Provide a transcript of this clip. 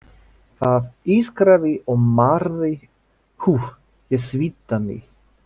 Það ískraði og marraði, úff, ég svitnaði.